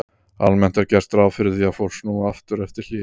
Almennt er gert ráð fyrir því að fólk snúi aftur eftir hlé.